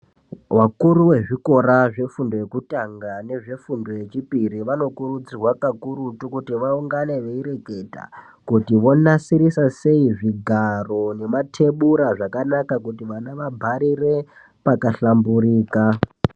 Vakuru vechikora chefundo yekutanga nefundo yechipiri vanokurudzirwa kakurutu kuti vaungane voreketa kuti vonasirisa sei zvigaro nematebhura akanaka kuti vana vagarire pakahlamburika.